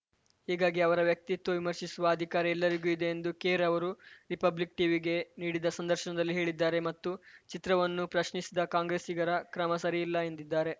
ಹೀಗಾಗಿ ಅವರ ವ್ಯಕ್ತಿತ್ವ ವಿಮರ್ಶಿಸುವ ಅಧಿಕಾರ ಎಲ್ಲರಿಗೂ ಇದೆ ಎಂದು ಖೇರ್‌ ಅವರು ರಿಪಬ್ಲಿಕ್‌ ಟೀವಿಗೆ ನೀಡಿದ ಸಂದರ್ಶನದಲ್ಲಿ ಹೇಳಿದ್ದಾರೆ ಮತ್ತು ಚಿತ್ರವನ್ನು ಪ್ರಶ್ನಿಸಿದ ಕಾಂಗ್ರೆಸ್ಸಿಗರ ಕ್ರಮ ಸರಿಯಿಲ್ಲ ಎಂದಿದ್ದಾರೆ